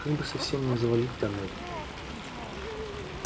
как бы совсем не завалить тоннель